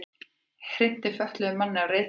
Hrinti fötluðum manni af reiðhjóli